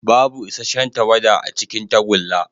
Babu isasshen tawada a cikin tagulla.